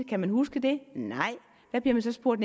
kan man huske det nej hvad bliver man så spurgt